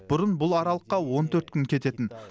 бұрын бұл аралыққа он төрт күн кететін